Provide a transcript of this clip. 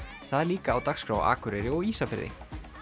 það er líka á dagskrá á Akureyri og Ísafirði